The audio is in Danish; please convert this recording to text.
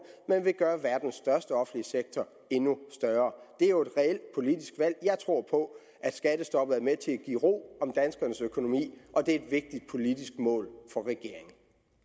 men vil gøre verdens største offentlige sektor endnu større det er jo et reelt politisk valg jeg tror på at skattestoppet er med til at give ro om danskernes økonomi og det vigtigt politisk mål for regeringen